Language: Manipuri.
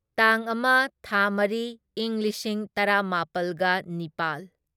ꯇꯥꯡ ꯑꯃ ꯊꯥ ꯃꯔꯤ ꯢꯪ ꯂꯤꯁꯤꯡ ꯇꯔꯥꯃꯥꯄꯜꯒ ꯅꯤꯄꯥꯜ